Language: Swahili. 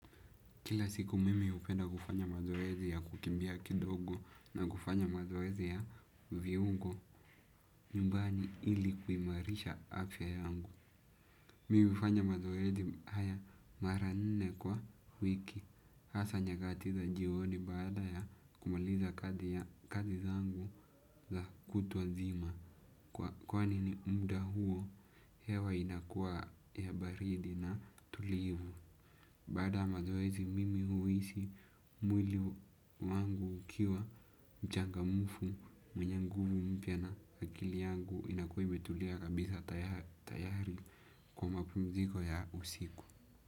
Kila siku mimi hupenda kufanya mazoezi ya kukimbia kidogo na kufanya mazoezi ya viungo nyumbani ili kuimarisha afya yangu. Mimi hufanya mazoezi haya mara nne kwa wiki hasaa nyakati za jioni baada ya kumaliza kazi zangu za kutwa nzima. Kwani ni muda huo hewa inakua ya baridi na tulivu. Baada mazoezi mimi huisi mwili wangu ukiwa mchangamufu mwenye nguvu mpya na akili yangu inakuwa imetulia kabisa tayari kwa mapumziko ya usiku.